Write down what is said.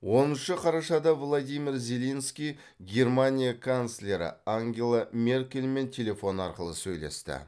оныншы қарашада владимир зеленский германия канцлері ангела меркельмен телефон арқылы сөйлесті